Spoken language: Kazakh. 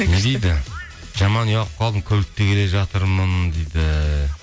не дейді жаман ұялып қалдым көлікте келе жатырмын дейді